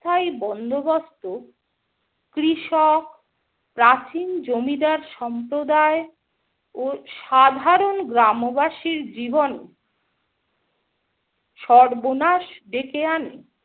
স্থায়ী বন্দোবস্ত কৃষক, প্রাচীন জমিদার সম্প্রদায় ও সাধারণ গ্রামবাসীর জীবনে সর্বনাশ ডেকে আনে ।